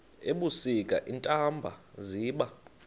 ebusika iintaba ziba